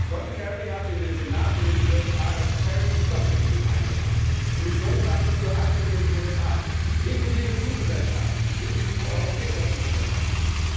John Kerry hat in den Senat in den USA das Kerry Lieberman Bill eingebracht Emissionshandel für alle in den USA, inklusive Fluggesellschaften, inklusive europäischer Fluggesellschaften.